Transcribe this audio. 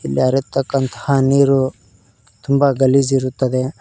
ಲೆ ಹರಿಯುತ್ತಕ್ಕಂತಹ ನೀರು ತುಂಬ ಗಲೀಜ್ ಇರುತ್ತದೆ.